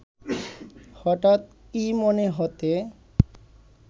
হঠাৎ কী মনে হতে